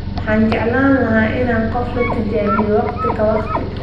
Waxaan jeclaan lahaa in qof la tijaabiyo waqti ka waqti.